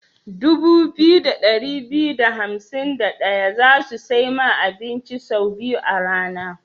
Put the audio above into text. Dubu biyu da ɗari biyu da hansim da ɗaya za su sai ma abinci say biyu a rana.